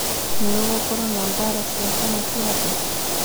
nĩ ngũgũkorwo na mbara cĩa kana cĩa thĩ